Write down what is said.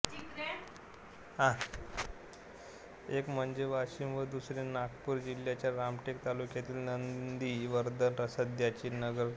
एक म्हणजे वाशीम व दुसरे नागपूर जिल्ह्याच्या रामटेक तालुक्यातील नंदिवर्धन सध्याचे नगरधन